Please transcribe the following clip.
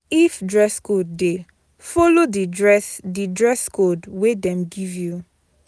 If dress code de follow di dress, di dress code wey dem give you